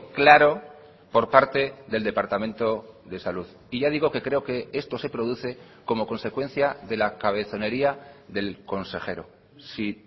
claro por parte del departamento de salud y ya digo que creo que esto se produce como consecuencia de la cabezonería del consejero si